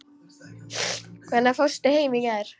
Hvenær fórstu heim í gær?